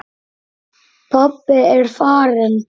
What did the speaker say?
Pabbi er farinn.